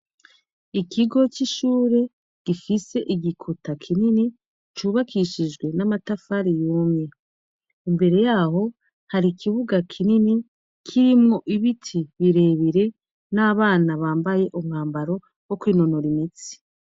Ikigo c'ishure gifise igikota kinini cubakishijwe n'amatafari y'umye imbere yaho hari ikibuga kinini kirimwo ibiti birebire n'abana bambaye umwambaro wo kwinonura imitsi.